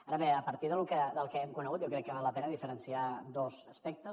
ara bé a partir del que hem conegut jo crec que val la pena diferenciar dos aspectes